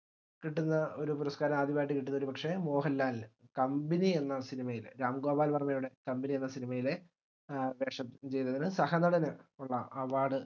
കിട്ടുന്ന ഒര് പുരസ്ക്കാരം ആദ്യമായിട്ട് കിട്ടുന്ന ഒരുപക്ഷെ മോഹൻലാലിന് കമ്പനി എന്ന cinema യിലെ രാം ഗോപാൽ വർമയുടെ കമ്പനി എന്ന cinema യിലെ ഏർ വേഷം ചെയ്തതിന് സഹനടന് ഉള്ള award